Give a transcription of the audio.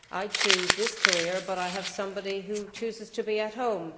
I chose this career but I have somebody who has chosen to be at home.